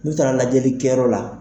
N'u taara lajɛli kɛ yɔrɔ la